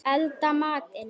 Elda matinn.